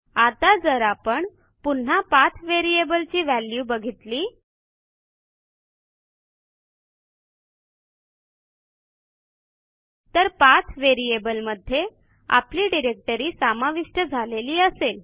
आता जर आपण पुन्हा पाठ व्हेरिएबल ची व्हॅल्यू बघितली तर पाठ व्हेरिएबल मध्ये आपली डिरेक्टरी समाविष्ट झालेली असेल